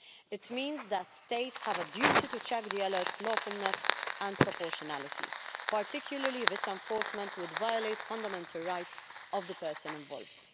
It means that states have a duty to check an alert's lawfulness and proportionality, particularly if its enforcement would violate the fundamental rights of the person involved.